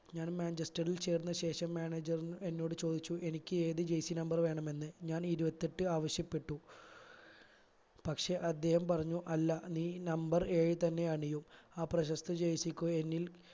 ഞാൻ മാഞ്ചസ്റ്ററിൽ ചേർന്ന ശേഷം manager എന്നോട് ചോദിച്ചു എനിക്ക് ഏത് jersey number വേണമെന്ന് ഞാൻ ഇരുപത്തിയെട്ടു ആവശ്യപ്പെട്ടു പക്ഷെ അദ്ദേഹം പറഞ്ഞു അല്ല നീ number ഏഴു തന്നെ അണിയു ആ പ്രശസ്ത jersey ക്കു എന്നിൽ